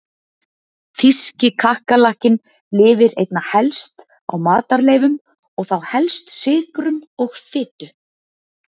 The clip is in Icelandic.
Þýski kakkalakkinn lifir einna helst á matarleifum og þá helst sykrum og fitu.